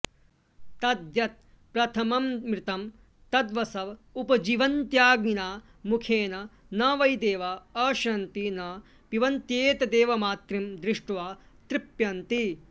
तद्यत्प्रथमममृतं तद्वसव उपजीवन्त्यग्निना मुखेन न वै देवा अश्नन्ति न पिबन्त्येतदेवामृतं दृष्ट्वा तृप्यन्ति